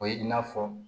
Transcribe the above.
O ye i n'a fɔ